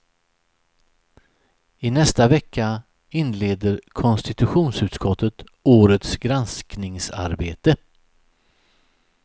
I nästa vecka inleder konstitutionsutskottet årets granskningsarbete.